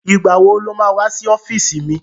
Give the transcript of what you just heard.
Ìgbà wo lo má wá sí ọ́fíìsì mi?